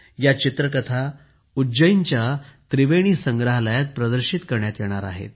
या चित्रकथा उज्जैनच्या त्रिवेणी संग्रहालयात मांडणार आहेत